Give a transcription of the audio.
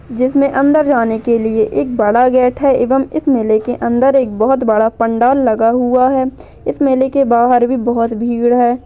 जिसमें अंदर जाने केलिए एक बड़ा गेट है एवम इस मेले के अंदर एक बहुत बड़ा पंडाल लगा हुआ है इस मेले के बाहर भी बहुत भीड़ है।